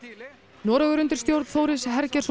Noregur undir stjórn Þóris